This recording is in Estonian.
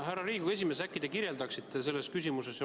Härra Riigikogu esimees, äkki te kirjeldaksite edasist käiku.